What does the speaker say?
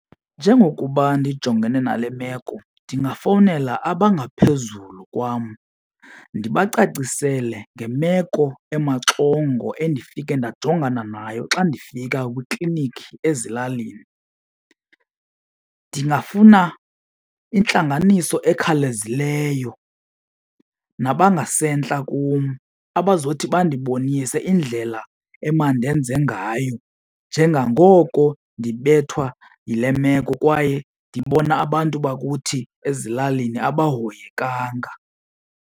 Njengokuba ndijongene nale meko ndingafowunela abangaphezulu kwam ndibacacisele ngemeko emaxongo endifike ndajongana nayo xa ndifika kwiiklinikhi ezilalini. Ndingafuna intlanganiso ekhawulezileyo nabangasentla kum abazothi bandibonise indlela emanndenze ngayo njengangoko ndibethwa yile meko kwaye ndibona abantu bakuthi ezilalini abahoyekanga.